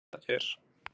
þetta er